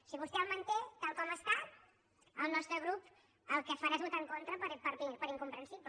si vostè el manté tal com està el nostre grup el que farà és votar en contra per incomprensible